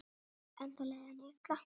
Ennþá leið henni illa.